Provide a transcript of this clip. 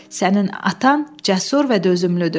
Sənin atan cəsur və dözümlüdür.